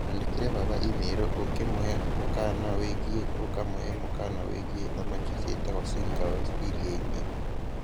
Andĩkĩre baba i-mīrū ũkĩmũhe mũkaana wĩgiĩ ũkamũhe mũkaana wĩgiĩ thamakiciatagũo seagulls iriaĩnĩ